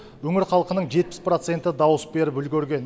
өңір халқының жетпіс проценті дауыс беріп үлгерген